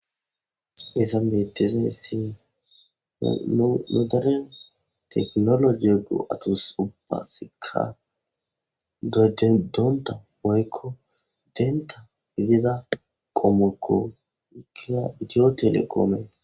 Hayssan bettizayssi nu deren teknologi go'atus ubbasika doyetonta woykko denta gida qommokko ika iitiyotelekomekko